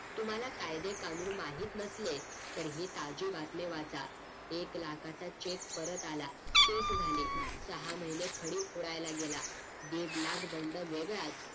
तुम्हला कायदे कानून माहीत नसले तर ही कालची बातमी वाचा एक लाखाचा CHEQUE परत आला Case झाले सहा महिने खडी फोडायला गेला दिड लाख दंड वेगळाच